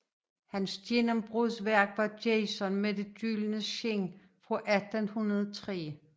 Hans gennembrudsværk var Jason med det gyldne skind fra 1803